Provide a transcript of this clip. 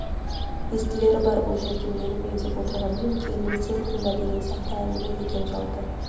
естілері бар бұл жерде мені меңзеп отырғанымен келінім сен тыңда деген сияқты әңгіме екен жалпы